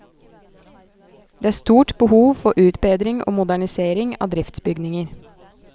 Det er stort behov for utbedring og modernisering av driftsbygninger.